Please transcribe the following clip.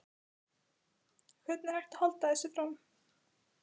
Hvernig er hægt að halda þessu fram?